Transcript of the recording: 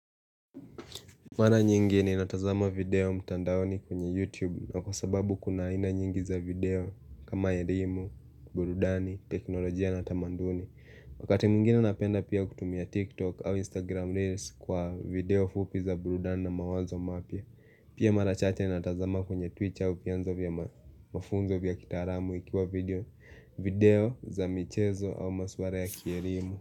Mara nyingi ninatazama video mtandaoni kwenye YouTube kwa sababu kuna ina nyingi za video kama elimu, burudani, teknolojia na Tamanduni Wakati mwingine napenda pia kutumia TikTok au Instagram Reels kwa video fupi za burudani na mawazo mapya Pia marachache ninatazama kwenye Twitter vyanzo vya mafunzo vya kitaalamu ikiwa video za michezo au maswala ya kielimu.